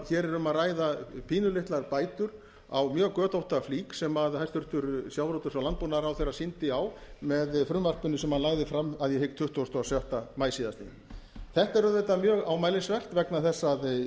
hér er um að ræða pínulitlar bætur á mjög götótta flík sem hæstvirtur sjávarútvegs og landbúnaðarráðherra sýndi á með frumvarpinu sem hann lagði fram að ég hygg þann tuttugasta og sjötta maí síðastliðinn þetta er auðvitað mjög ámælisvert vegna þess að